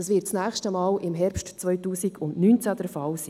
Das nächste Mal wird das im Herbst 2019 der Fall sein.